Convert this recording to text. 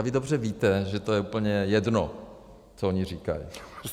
A vy dobře víte, že to je úplně jedno, co oni říkají.